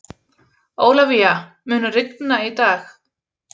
Ólafía, mun rigna í dag?